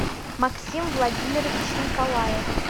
максим владимирович николаев